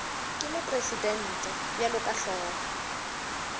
ke mopresidente bjalo ka hlogo